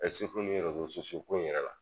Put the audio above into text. ni ko in yɛrɛ la